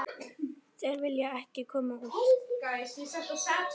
Þeir vilja ekki koma út.